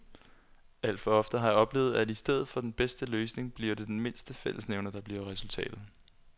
Alt for ofte har jeg oplevet, at i stedet for den bedste løsning bliver det den mindste fællesnævner, der bliver resultatet.